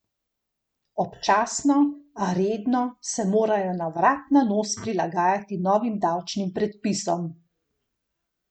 Občasno, a redno, se morajo na vrat na nos prilagajati novim davčnim predpisom.